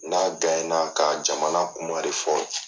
N'a ka jamana kum de fɔ.